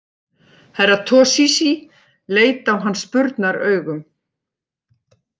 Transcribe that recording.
Herra Toshizi leit á hann spurnaraugum.